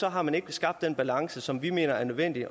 har man ikke skabt den balance som vi mener er nødvendig